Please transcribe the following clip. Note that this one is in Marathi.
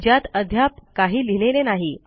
ज्यात अद्याप काही लिहिलेले नाही